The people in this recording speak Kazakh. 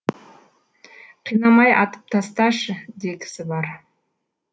қинамай атып тасташы дегісі бар